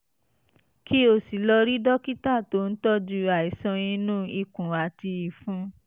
kí o sì lọ rí dókítà tó ń tọ́jú àìsàn inú ikùn àti ìfun